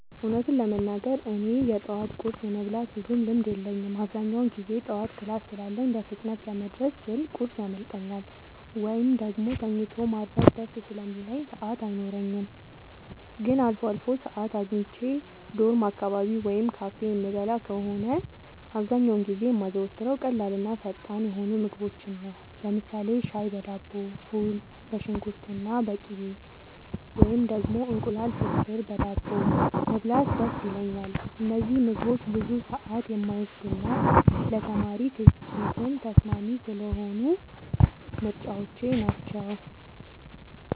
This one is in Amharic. እውነቱን ለመናገር እኔ የጠዋት ቁርስ የመብላት ብዙም ልምድ የለኝም። አብዛኛውን ጊዜ ጠዋት ክላስ ስላለኝ በፍጥነት ለመድረስ ስል ቁርስ ያመልጠኛል፤ ወይም ደግሞ ተኝቶ ማርፈድ ደስ ስለሚለኝ ሰዓት አይኖረኝም። ግን አልፎ አልፎ ሰዓት አግኝቼ ዶርም አካባቢ ወይም ካፌ የምበላ ከሆነ፣ አብዛኛውን ጊዜ የማዘወትረው ቀላልና ፈጣን የሆኑ ምግቦችን ነው። ለምሳሌ ሻይ በዳቦ፣ ፉል በሽንኩርትና በቅቤ፣ ወይም ደግሞ እንቁላል ፍርፍር በዳቦ መብላት ደስ ይለኛል። እነዚህ ምግቦች ብዙ ሰዓት የማይወስዱና ለተማሪ ኪስም ተስማሚ ስለሆኑ ምርጫዎቼ ናቸው።